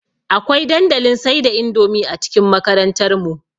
Akwai dandalin sai da indomie a cikin makarantar mu